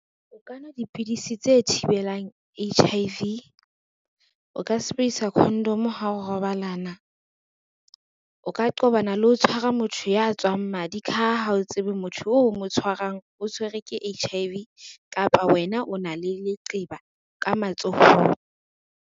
O ka nwa dipidisi tse thibelang H_I_V. O ka sebedisa condom ha o robalana. O ka qobana le ho tshwara motho ya tswang madi ka ha ha o tsebe motho o mo tshwarang, o tshwerwe ke H_I_V kapa wena o na le leqeba ka matsohong.